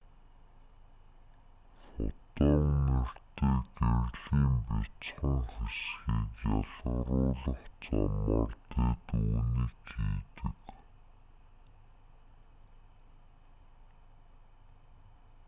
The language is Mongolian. фотон нэртэй гэрлийн бяцхан хэсгийг ялгаруулах замаар тэд үүнийг хийдэг